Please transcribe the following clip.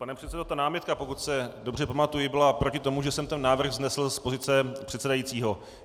Pane předsedo, ta námitka, pokud se dobře pamatuji, byla proti tomu, že jsem ten návrh vznesl z pozice předsedajícího.